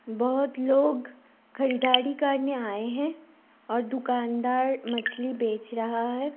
बहुत लोग खरीदारी करने आए हैं और दुकानदार मछली बेच रहा है।